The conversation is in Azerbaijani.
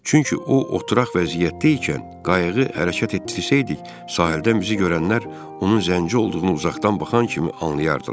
Çünki o oturaq vəziyyətdə ikən qayığı hərəkət etdirsəydik, sahildən bizi görənlər onun zənci olduğunu uzaqdan baxan kimi anlayardılar.